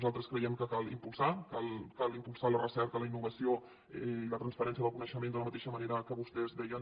nosaltres creiem que cal impulsar la recerca la innovació i la transferència del coneixement de la mateixa manera que vostès deien